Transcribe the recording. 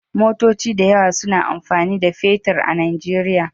Motoci da yawa suna amfani da fetir a Nijeriya.